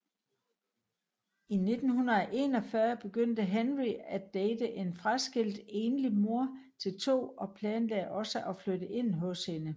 I 1941 begyndte Henry at date en fraskilt enlig mor til to og planlagde også at flytte ind hos hende